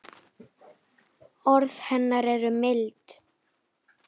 Orð hennar eru mild.